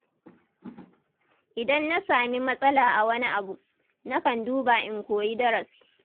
Idan na sami matsala a wani abu, na kan duba in koyi darasi.